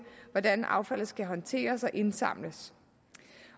hvordan affaldet skal håndteres og indsamles